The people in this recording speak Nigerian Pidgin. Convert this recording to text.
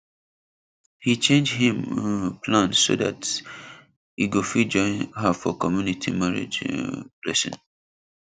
he change him um plan so that e go fit join her for community marriage um blessing